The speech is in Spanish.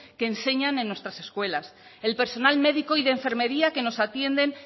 que enseñan en nuestras escuelas el personal médico y de enfermería que nos atienden